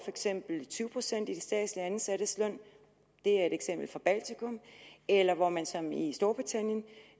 eksempel tyve procent i de statsligt ansattes løn det er et eksempel fra baltikum eller hvor man som i storbritannien